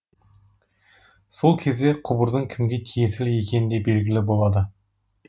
сол кезде құбырдың кімге тиесілі екені де белгілі болады